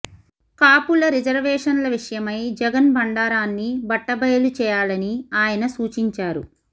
కాపుల రిజర్వేషన్ల విషయమై జగన్ బండారాన్ని బట్టబయలు చేయాలని ఆయన సూచించారు